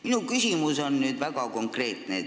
Minu küsimus on väga konkreetne.